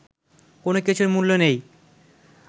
কোনো কিছুর মূল্য নেই